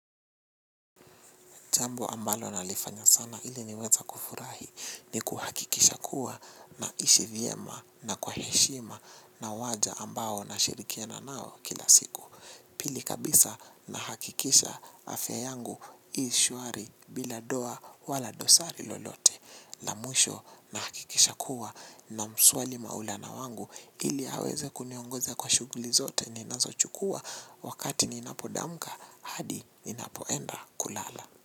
Jambo ambalo nalifanya sana ili niweza kufurahi ni kuhakikisha kuwa naishi vyema na kwa heshima na waja ambao na shirikiana nao kila siku. Pili kabisa nahakikisha afya yangu ishwari bila doa wala dosari lolote. Lamwisho nahakikisha kuwa na mswali maulana wangu ili aweze kuniongoza kwa shughuli zote ninazo chukuwa wakati ninapodamka hadi ninapoenda kulala.